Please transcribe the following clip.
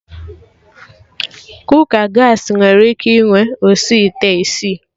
Kooka Gaasị nwere ike inwe osi ite isii